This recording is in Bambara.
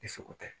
Ni seko tɛ